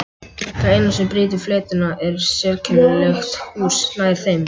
Það eina sem brýtur fletina er sérkennilegt hús nær þeim.